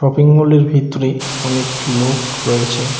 Shopping মলের ভিতরে অনেক লোক রয়েছে।